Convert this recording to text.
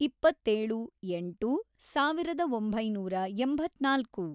ಇಪ್ಪತ್ತೇಳು, ಎಂಟು, ಸಾವಿರದ ಒಂಬೈನೂರ ಎಂಬತ್ನಾಲ್ಕು